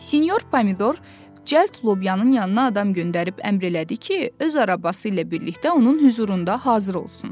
Sinyor pomidor cəld lobyanın yanına adam göndərib əmr elədi ki, öz arabası ilə birlikdə onun hüzurunda hazır olsun.